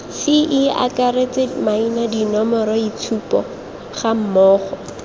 ce akaretse maina dinomoroitshupo gammogo